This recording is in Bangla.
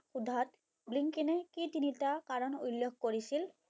সোধাত ব্লিংকিনে কি তিনিটা কাৰণ উল্লেখ কৰিছিল?